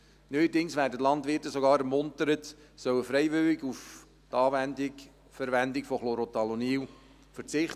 Neuerdings werden die Landwirte sogar ermuntert, sie sollen freiwillig auf die Anwendung und Verwendung von Chlorothalonil verzichten.